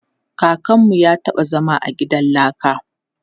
Kakanmu ya taɓa zama a gidan laka.